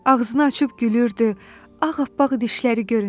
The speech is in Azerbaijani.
Ağzını açıb gülürdü, ağappaq dişləri görünürdü.